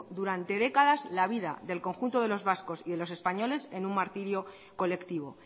durante décadas la vida del conjunto de los vascos y de los españoles en un martirio colectivo